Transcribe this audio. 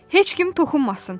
"Heç kim toxunmasın!"